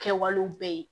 Kɛwalew bɛɛ ye